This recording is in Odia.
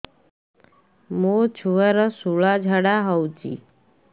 ମୋ ଛୁଆର ସୁଳା ଝାଡ଼ା ହଉଚି